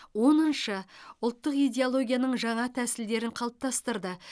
оныншы ұлттық идеологияның жаңа тәсілдерін қалыптастырды